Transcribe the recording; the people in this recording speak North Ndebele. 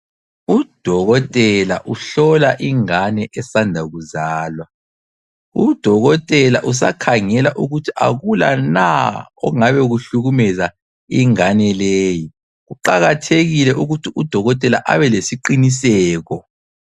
Udokotela uhlola ingane esanda kuzalwa. Udokotela usakhangela ukuthi akula na okungabe kuhlukumeza ingane leyi. Kuqakathekile ukuthi udokotela abelesiqiniseko.